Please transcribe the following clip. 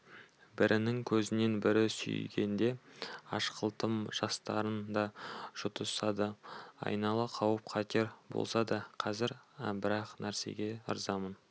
бірінің көзінен бірі сүйгенде ашқылтым жастарын да жұтысады айнала қауіп-қатер болса да қазір бір-ақ нәрсеге ырзамын